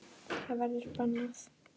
Það verður bannað.